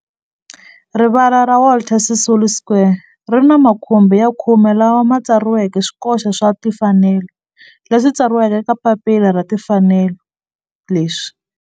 Rivala ra Walter Sisulu Square ri ni makhumbi ya khume lawa ma tsariweke swikoxo swa timfanelo leswi tsariweke eka papila ra timfanelo leswi